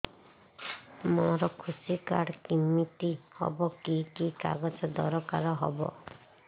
ମୋର କୃଷି କାର୍ଡ କିମିତି ହବ କି କି କାଗଜ ଦରକାର ହବ